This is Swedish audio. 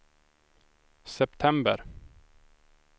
september